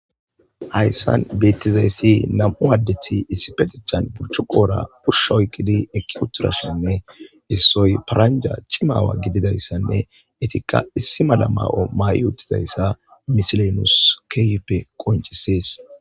hayssan beettizayssi namu addethi issipetichan burchu qoora pusha oykkidi ekki kutturashenne issoy paranja chimaawa gididayssanne etikka issi mala ma7o ma7i uuttizayssa misilenus keeyppe qoncisees